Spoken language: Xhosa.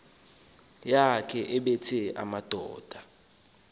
yakhe ebetha amadoda